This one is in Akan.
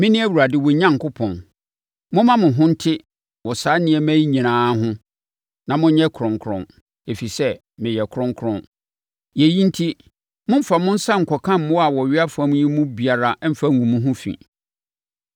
Mene Awurade wo Onyankopɔn. Momma mo ho nte wɔ saa nneɛma yi nyinaa ho na monyɛ kronkron, ɛfiri sɛ, meyɛ kronkron. Yei enti, mommfa mo nsa nkɔka mmoa a wɔwea fam yi mu biara mfa ngu mo ho fi.